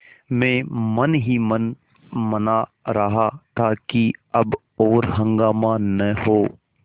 मैं मन ही मन मना रहा था कि अब और हंगामा न हो